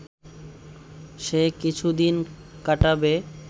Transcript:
সে কিছুদিন কাটাবে